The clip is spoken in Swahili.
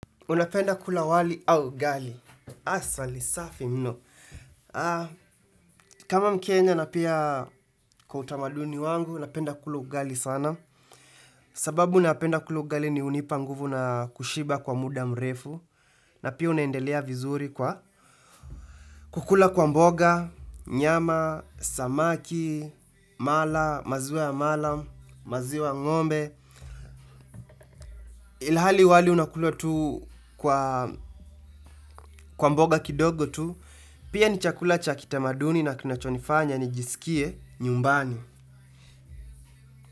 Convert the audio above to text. Unapenda kula wali au ugali. Aah swali, safi mno. Kama mkenya na pia kwa utamaduni wangu, napenda kula ugali sana. Sababu napenda kula ugali ni hunipa nguvu na kushiba kwa muda mrefu. Na pia unaendelea vizuri kwa kukula kwa mboga, nyama, samaki, mala, maziwa ya mala, maziwa ya ngombe. Ilhali wali unakulwa tu kwa mboga kidogo tu. Pia ni chakula cha kitamaduni na kinachonifanya nijiskie nyumbani.